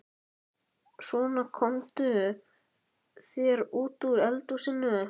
Svona, komdu þér út úr eldhúsinu.